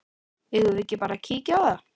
Eigum við ekki bara að kíkja á það?